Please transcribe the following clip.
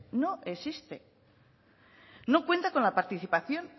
no existe no cuenta con la participación